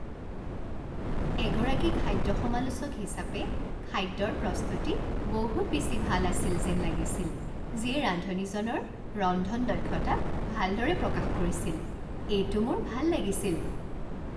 এগৰাকী খাদ্য সমালোচক হিচাপে খাদ্যৰ প্ৰস্তুতি বহুত বেছি ভাল আছিল যেন লাগিছিল যিয়ে ৰান্ধনীজনৰ ৰন্ধন দক্ষতাক ভালদৰে প্ৰকাশ কৰিছিল। এইটো মোৰ ভাল লাগিছিল।